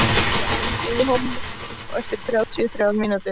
Silla, hringdu í Holemíus eftir þrjátíu og þrjár mínútur.